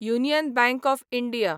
union Bank of India